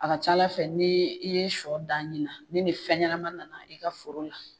A ka ca ala fɛ n'i ye sɔ dan ɲin na , ni ni fɛn ɲɛnama nana i ka foro la